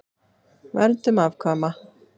Verndun afkvæma